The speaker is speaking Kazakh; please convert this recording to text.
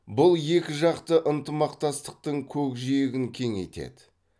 бұл екіжақты ынтымақтастықтың көкжиегін кеңейтеді